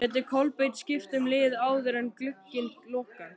Gæti Kolbeinn skipt um lið áður en glugginn lokar?